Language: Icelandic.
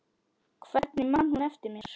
Hvernig man hún eftir mér?